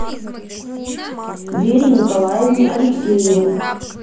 вере николаевне алексеевой